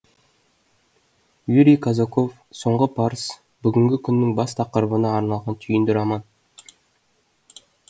юрий казаков соңғы парыз бүгінгі күннің бас тақырыбына арналған түйінді роман